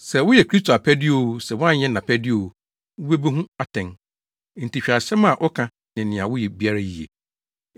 Sɛ woyɛ Kristo apɛde o, sɛ woanyɛ nʼapɛde o, wubebu wo ho atɛn. Enti hwɛ asɛm a woka ne nea woyɛ biara yiye.